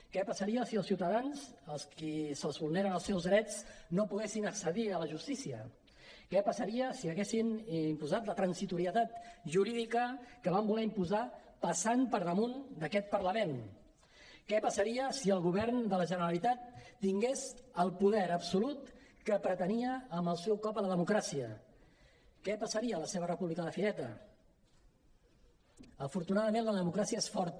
què passaria si els ciutadans als quals es vulneren els seus drets no poguessin accedir a la justícia què passaria si haguessin imposat la transitorietat jurídica que van voler imposar passant per damunt d’aquest parlament què passaria si el govern de la generalitat tingués el poder absolut que pretenia amb el seu cop a la democràcia què passaria a la seva república de fireta afortunadament la democràcia és forta